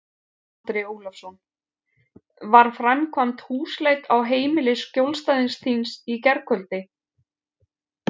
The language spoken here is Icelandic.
Andri Ólafsson: Var framkvæmd húsleit á heimili skjólstæðings þíns í gærkvöldi?